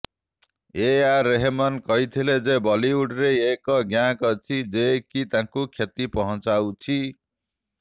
ଏ ଆର୍ ରେହମନ କହିଥିଲେ ଯେ ବଲିଉଡରେ ଏକ ଗ୍ୟାଙ୍ଗ ଅଛି ଯେ କି ତାଙ୍କୁ କ୍ଷତି ପହଞ୍ଚାଉଛି